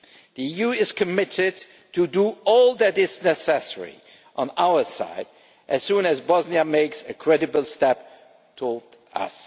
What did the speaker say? The EU is committed to doing all that is necessary on our side as soon as Bosnia makes a credible step towards us.